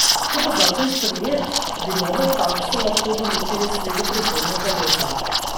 Če bo zakon sprejet, bi nove takse lahko določili sredi prihodnjega leta.